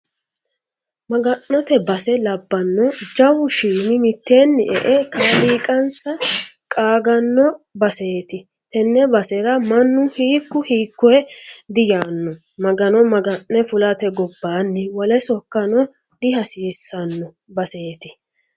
Maga'note base labbano jawu shiimi mitteenni e"e kaaliiqansa qaagano baseti tene basera mannu hiikku hiikkoyeno diyaano Magano maga'ne fulate gobbanni wole sokkano dihasiisano baseti.